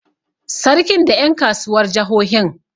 Sarkin da ƴan kasuwar jahohin.